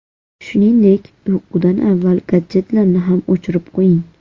Shuningdek, uyqudan avval gadjetlarni ham o‘chirib qo‘ying.